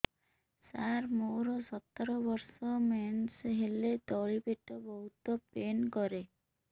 ସାର ମୋର ସତର ବର୍ଷ ମେନ୍ସେସ ହେଲେ ତଳି ପେଟ ବହୁତ ପେନ୍ କରେ